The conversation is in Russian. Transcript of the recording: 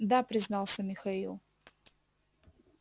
да признался михаил